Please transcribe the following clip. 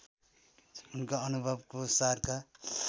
उनका अनुभवको सारका